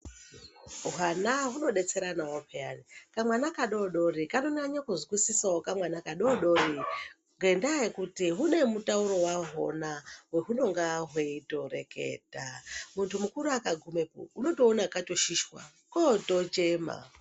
Hwana hunodetseranao peyani kamwana kadodori kanonyanye kuzwisisao kamwana kadodori ngendaa yekuti hune mutauro hwahona wahunenge hweitoreketa. Muntu mukuru akagumepo unotoona katoshishwa kotochema.